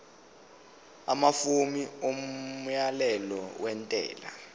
amafomu omyalelo wentela